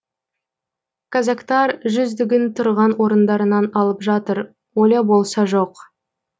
казактар жүздігін тұрған орындарынан алып жатыр оля болса жоқ